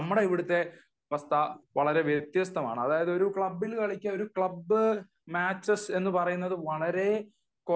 എന്നാൽ നമ്മളെ ഇവിടുത്തെ അവസ്ഥ വളരെ വ്യത്യസ്തമാണ് . അതായത് ഒരു ക്ലബിന് കളിക്കുക ഒരു ക്ലബ് മാച്ചു എന്ന് പറയുന്നത് വളരെ